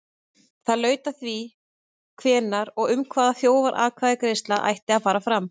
Það laut að því hvenær og um hvað þjóðaratkvæðagreiðsla ætti að fara fram.